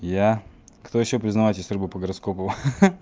я кто ещё признавайтесь рыбы по гороскопу ха-ха